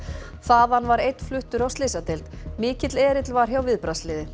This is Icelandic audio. þaðan var einn fluttur á slysadeild mikill erill var hjá